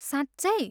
साँच्चै!?